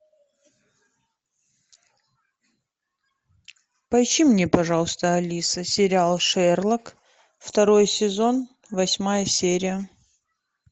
поищи мне пожалуйста алиса сериал шерлок второй сезон восьмая серия